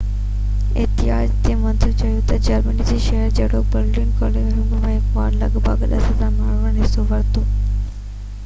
احتجاج جي منتظمن چيو تہ جرمني جي شهرن جهڙوڪ Berlin, Cologne, Hamburg ۽ Hanover ۾ لڳ ڀڳ 100،000 ماڻهن حصو ورتو